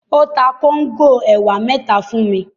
Ó ta kóńgò ẹ̀wà mẹ́ta fún mi.